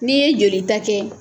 Ne'i ye joli ta kɛ.